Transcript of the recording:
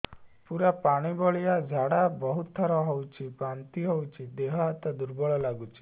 ପୁରା ପାଣି ଭଳିଆ ଝାଡା ବହୁତ ଥର ହଉଛି ବାନ୍ତି ହଉଚି ଦେହ ହାତ ଦୁର୍ବଳ ଲାଗୁଚି